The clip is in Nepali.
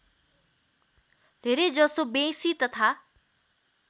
धेरैजसो बेँसी तथा